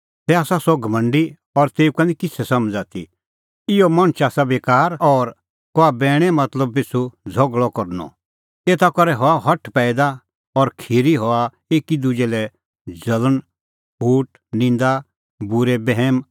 तै आसा सह घमंडी और तेऊ का निं किछ़ै समझ़ आथी इहअ मणछ च़ाहा बेकार गल्ला और कहा बैणे मतलब पिछ़ू झ़गल़अ करनअ एता करै हआ हठ पैईदा और खिरी हआ एकी दुजै लै ज़ल़ण फूट निंदा बूरै बैहम